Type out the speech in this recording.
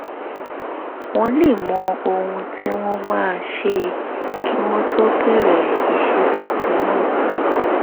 wọ́n lè mọ ohun tí wọ́n máa ṣe kí wọ́n tó bẹ̀rẹ̀ iṣẹ́ tuntun náà